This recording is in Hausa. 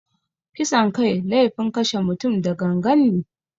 Kisan kai laifin kashe mutum da gangan ne.